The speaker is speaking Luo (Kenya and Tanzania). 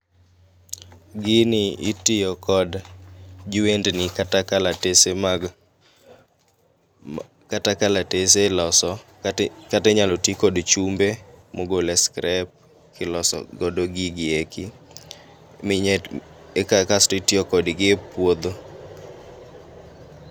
Gini itiyo kod jwendni kata kalatese mag kata kalatese iloso kata inyalo ti kod chumbe mogole e scrape kiloso godo gigi eki. Minye ekakasto itiyo kodgi epuodho.